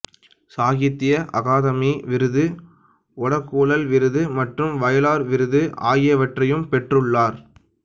சாகித்ய அகாதமி விருது ஒடக்குழல் விருது மற்றும் வயலார் விருது ஆகியவற்றையும் பெற்றுள்ளார்